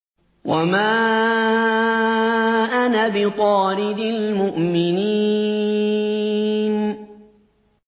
وَمَا أَنَا بِطَارِدِ الْمُؤْمِنِينَ